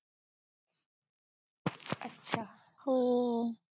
हो